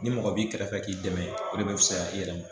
Ni mɔgɔ b'i kɛrɛfɛ k'i dɛmɛ o de bɛ fisaya i yɛrɛ ma.